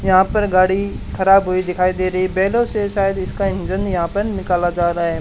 यहां पर गाड़ी खराब हुई दिखाई दे रही बैलों से शायद इसका इंजन यहां पर निकाला जा रहा है।